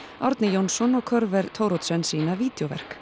Árni Jónsson og Thoroddsen sýna